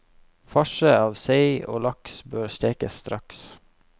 Farse av sei og laks bør stekes straks.